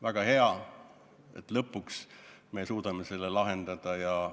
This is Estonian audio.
Väga hea, et me lõpuks suudame selle probleemi lahendada.